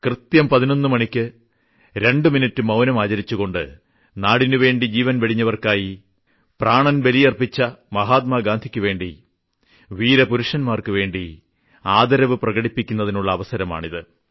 കൃത്യം 11 മണിയ്ക്ക് 2 മിനിട്ട് മൌനം ആചരിച്ചുകൊണ്ട് നാടിനുവേണ്ടി ജീവിതം വെടിഞ്ഞവർക്കായി പ്രാണൻ ബലിയർപ്പിച്ച മഹാത്മാഗാന്ധിയ്ക്കുവേണ്ടി വീരപുരുഷന്മാർക്കുവേണ്ടി ആദരവ് പ്രകടിപ്പിക്കുന്നതിനുള്ള അവസരമാണിത്